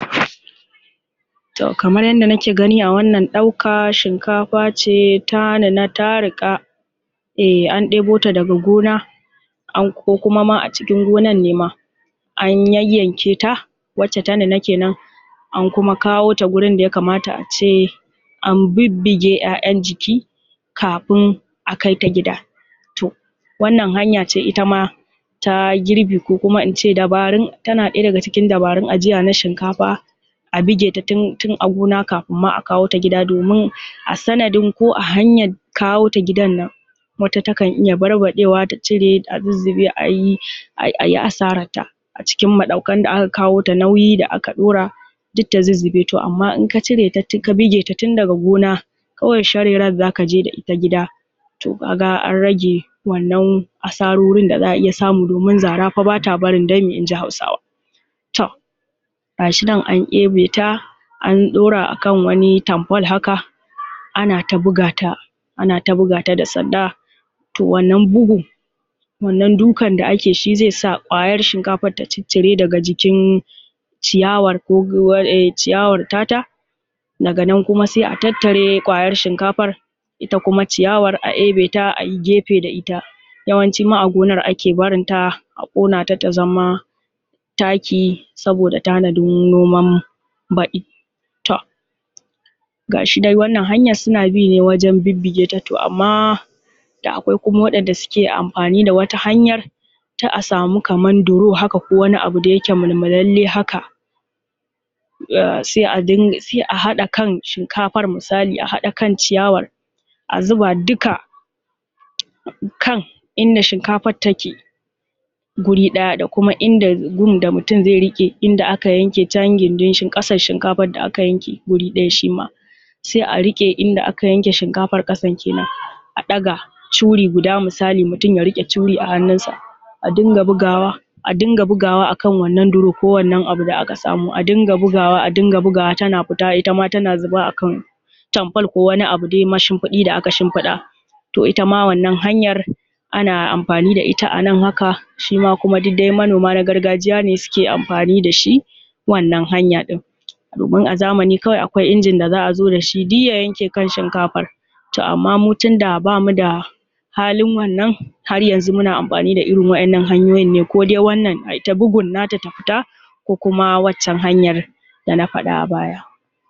Toh gaskiya za ka gan dai rake ruwan rake ya na da bambancin zaki da sauran abubuwa da dama na kayan marmari ko wani abu na zaki haka saboda yawancin duk wani abu na zaki haka makasudan su akan samo su daga parayin rake ne dan wannan, in ka danganta da ga suga sai, haka zalika ma mazan kwaila sannan in ka hada da kan shi gundar raken ita kan ta gundaren raken za ka gan ta na bada wani abu mai mahimanci na yanda za ka gan ya banya ya na samuwa mai kyau sannan ruwan shi ne ya ke hada ko irin su gwanda ne, duk wani kayan itatutuwa haka dai ba za su kai gaskiya wurin wannan, ni dai a yanda ke na'akari gaskiya um a dai qasan hausawa da abubuwan wannan gaskiya ban gan um 'yayan icen da ya kayar rake zaki ba, saboda masamman ma aka ce kawai zallan ruwan rake saboda shi kawai haka Allah ya halice shi za ka gan shi wannan kawai wani ruwa ne mai zaki wanda ya kan, ya na da amfani a jikin dan Adam sosan gaske sannan kuma a gaskiya ba, wannan ko irin su wannan wani ko 'yayan ice haka isu inabi um lemu mangoro, gaskiya duk za ka gan basu kai dai rake, gaskiya a zaki ba toh da wannan, shi rake kawai saboda kusan ma, duk shi rake za ka gan da shi ake juya shi, a tsarafa shi ya koma wani abu na zaki haka irin misalin suga akan juya ruwan rake, ya koma suga, a na amfani da sinadarin sa ya koma suga sai abu na biyu mazar kwaila